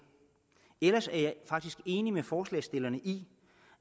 ellers er jeg faktisk enig med forslagsstillerne i